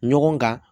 Ɲɔgɔn kan